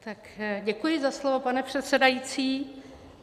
Tak děkuji za slovo, pane předsedající.